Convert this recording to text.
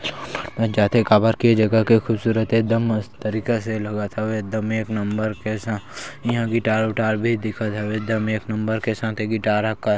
जाते काबर के जगह के खूबसूरत हे एदम मस्त तरीका से लगत हवे एकदम एक नंबर से इहा गिटार -विटार भी दिखत हवे एकदम एक नंबर के साथे गिटार का --